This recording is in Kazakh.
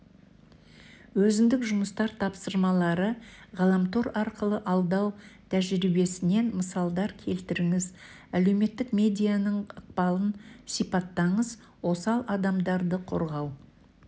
өзіндік жұмыстар тапсырмалары ғаламтор арқылы алдау тәжірибесінен мысалдар келтіріңіз әлеуметтік медианың ықпалын сипаттаңыз осал адамдарды қорғау